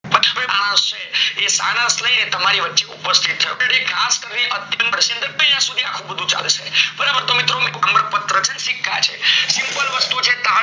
હશે. એ ને તમારી વચ્ચે ઉપસ્થિત થશે. તેની ખાસ કરી અત્યંત પ્રસિદ્ધ અહીંયા સુધી આવું બધું ચાલે છે. બરાબર? તો મિત્રો. તામ્રપત્ર છે અને સિક્કા છે simple વસ્તુ છે